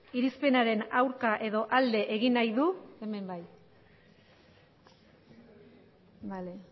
irizpenaren aurka edo alde egin nahi du hemen bai vale